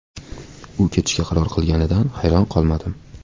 U ketishga qaror qilganida hayron qolmadim.